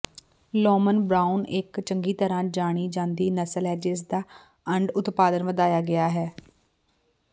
ਲੌਮਨ Brown ਇਕ ਚੰਗੀ ਤਰ੍ਹਾਂ ਜਾਣੀ ਜਾਂਦੀ ਨਸਲ ਹੈ ਜਿਸਦਾ ਅੰਡ ਉਤਪਾਦਨ ਵਧਾਇਆ ਗਿਆ ਹੈ